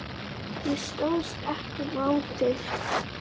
Ég stóðst ekki mátið.